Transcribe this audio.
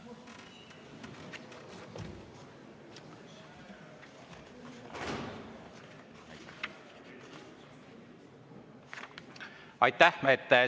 Aitäh!